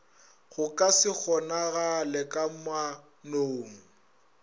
go ka se kgonagale kamanong